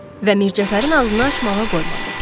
Və Mircəfərin ağzını açmağa qoymadı.